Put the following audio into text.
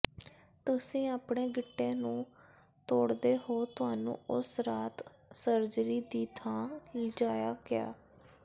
ਤੁਸੀਂ ਆਪਣੇ ਗਿੱਟੇ ਨੂੰ ਤੋੜਦੇ ਹੋ ਤੁਹਾਨੂੰ ਉਸ ਰਾਤ ਸਰਜਰੀ ਦੀ ਥਾਂ ਲਿਜਾਇਆ ਗਿਆ